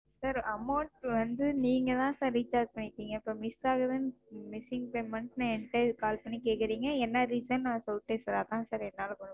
Sir amount வந்து நீங்க தான் Sir recharge பண்ணிருக்கீங்க. இப்ப Miss ஆகுதுன்னு Missing statement என்ட Call பண்ணி கேட்குறீங்க என்ன Reason ன்னு நான் சொல்லிட்டேன் Sir அதான் Sir என்னால முடியும்.